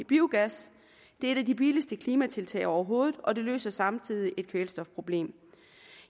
biogas det er et af de billigste klimatiltag overhovedet og det løser samtidig et kvælstofproblem